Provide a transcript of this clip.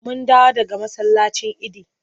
Mun dawo daga masallacin idi.